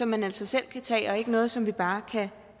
man altså selv kan tage og det er ikke noget som vi bare kan